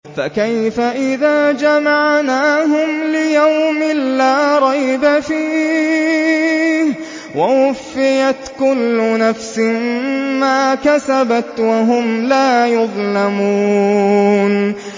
فَكَيْفَ إِذَا جَمَعْنَاهُمْ لِيَوْمٍ لَّا رَيْبَ فِيهِ وَوُفِّيَتْ كُلُّ نَفْسٍ مَّا كَسَبَتْ وَهُمْ لَا يُظْلَمُونَ